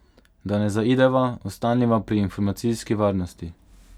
Da ne zaideva, ostaniva pri informacijski varnosti.